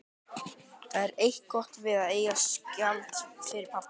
Það er eitt gott við að eiga skáld fyrir pabba.